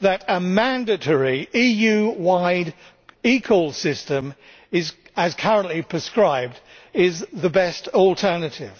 that a mandatory EU wide eCall system as currently prescribed is the best alternative.